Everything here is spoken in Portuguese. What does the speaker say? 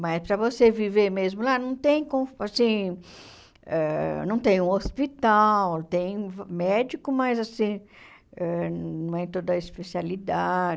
Mas, para você viver mesmo lá, não tem con assim ãh não tem um hospital, tem médico, mas assim ãh não é toda a especialidade.